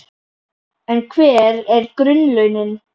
En hver eru grunnlaunin?